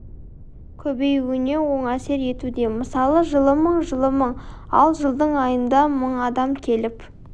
көбеюіне оң әсер етуде мысалы жылы мың жылы мың ал жылдың айында мың адам келіп